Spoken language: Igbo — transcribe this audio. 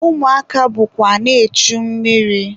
Ụmụaka bụkwa na-echu mmiri.